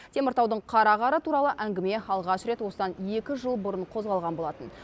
теміртаудың қара қары туралы әңгіме алғаш рет осыдан екі жыл бұрын қозғалған болатын